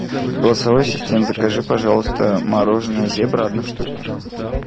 голосовой ассистент закажи пожалуйста мороженое зебра одну штуку